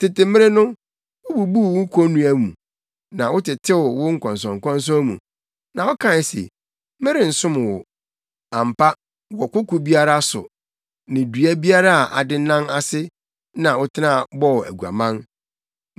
“Tete mmere no, wububuu wo konnua mu, na wotetew wo nkɔnsɔnkɔnsɔn mu; na wokae se, ‘Merensom wo!’ Ampa, wɔ koko biara so ne dua biara a adennan ase na wotena bɔɔ aguaman.